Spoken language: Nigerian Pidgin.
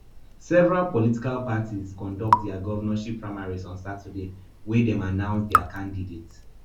several political parties conduct dia govnorship primaries on saturday wia dem announce dia candidates